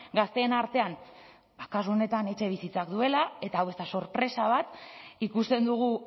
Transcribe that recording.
gazteen artean kasu honetan etxebizitzak duela eta hau ez da sorpresa bat ikusten dugu